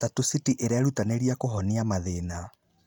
Tatu City ĩrerutanĩria kũhonia mathĩna.